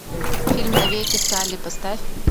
фильм навеки салли поставь